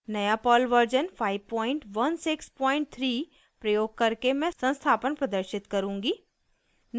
नया Perl version 5163 प्रयोग करके मैं संस्थापन प्रदर्शित करूँगी